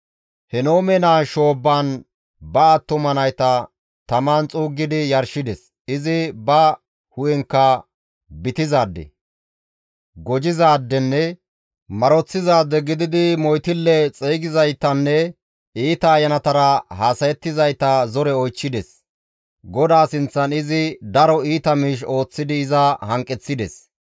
Henoome naa shoobbaan ba attuma nayta taman xuuggidi yarshides; izi ba hu7enkka bitizaade, gojizaadenne maroththizaade gididi moytille xeygizaytanne iita ayanatara haasayettizayta zore oychchides; GODAA sinththan izi daro iita miish ooththidi iza hanqeththides.